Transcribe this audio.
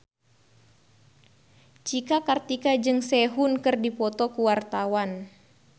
Cika Kartika jeung Sehun keur dipoto ku wartawan